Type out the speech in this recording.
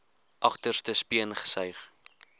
agterste speen gesuig